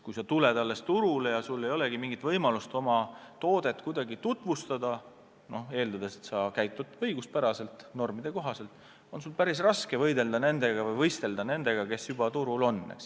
Kui sa alles tuled turule ja sul ei olegi mingit võimalust oma toodet kuidagi tutvustada, siis eeldades, et sa käitud õiguspäraselt, normide kohaselt, on sul päris raske võistelda nendega, kes juba turul on.